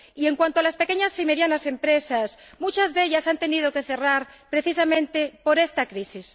Y en cuanto a las pequeñas y medianas empresas, muchas de ellas han tenido que cerrar precisamente por esta crisis.